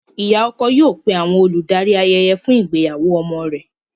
Ìyá ọkọ yóò pé àwọn olùdarí ayẹyẹ fún ìgbéyàwó ọmọ rẹ̀.